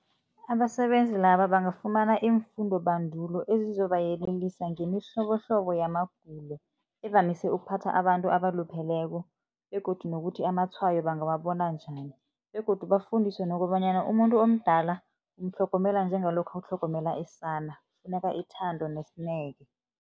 Abasebenzi laba bangafumana iimfundobandulo ezizobayelelisa ngemihlobohlobo yamagulo evamise ukuphatha abantu abalupheleko begodu nokuthi amatshwayo bangawabona njani begodu bafundiswe nokobanyana. Umuntu omdala umtlhogomela njengalokha utlhogomela isana, kufuneka ithando nesineke.